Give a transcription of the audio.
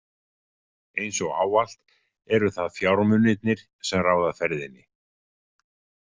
Eins og ávallt eru það fjármunirnir, sem ráða ferðinni.